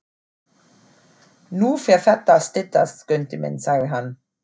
Nú fer þetta að styttast, Skundi minn, sagði hann.